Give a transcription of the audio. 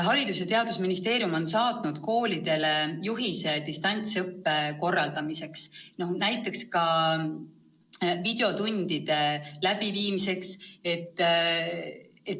Haridus- ja Teadusministeerium on saatnud koolidele juhise distantsõppe korraldamiseks, näiteks ka videotundide läbiviimiseks.